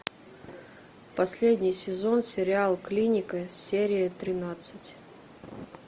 последний сезон сериал клиника серия тринадцать